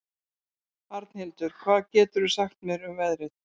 Arnhildur, hvað geturðu sagt mér um veðrið?